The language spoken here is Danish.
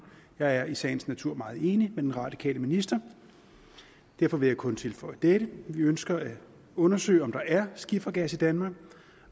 jeg er i sagens natur meget enig med den radikale minister derfor vil jeg kun tilføje dette vi ønsker at undersøge om der er skifergas i danmark